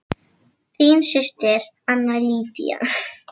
Þín systir Anna Lydía.